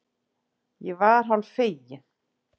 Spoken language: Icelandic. Ég var hálffegin.